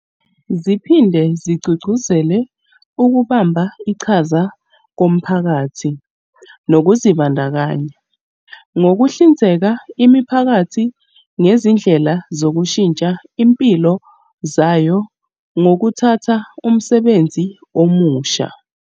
Ziphinde zigqugquzele ukubamba iqhaza komphakathi nokuzibandakanya, ngokuhlinzeka imiphakathi ngezindlela zokushintsha izimpilo zayo ngokuthatha umsebenzi omusha.